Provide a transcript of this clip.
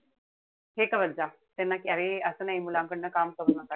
हे करत जा. कि अरे असं नाई. मुलांकडन काम करू नका.